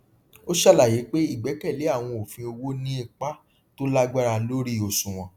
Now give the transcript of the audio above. ó ṣàlàyé pé ìgbẹkẹlé àwọn òfin owó ní ipa tó lágbára lórí òṣùwòn